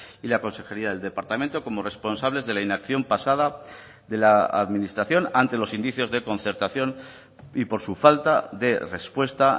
y la consejería del departamento como responsables de la inacción pasada de la administración ante los indicios de concertación y por su falta de respuesta